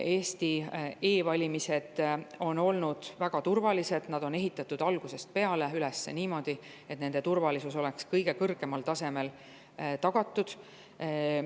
Eesti e‑valimised on olnud väga turvalised, nad on algusest peale olnud üles ehitatud niimoodi, et nende turvalisus oleks kõige kõrgemal tasemel tagatud.